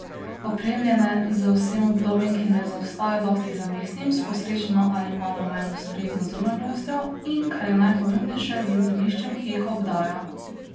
Opremljene z vsem udobjem, ki ne zaostaja dosti za mestnim, s posrečeno ali malo manj ustrezno zunanjostjo in, kar je najpomembnejše, z zemljiščem, ki jih obdaja.